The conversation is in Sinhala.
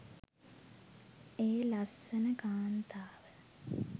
ඒ ලස්සන කාන්තාව